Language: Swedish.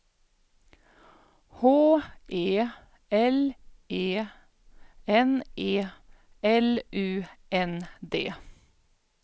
H E L E N E L U N D